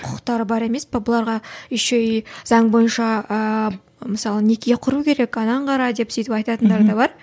құқықтары бар емес пе бұларға еще и заң бойынша ы мысалы неке құру керек анны кара деп сөйтіп айтатындары да бар